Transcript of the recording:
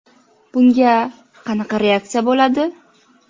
Bunga qanday reaksiya bo‘ladi?